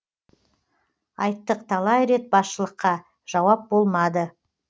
айттық талай рет басшылыққа жауап болмады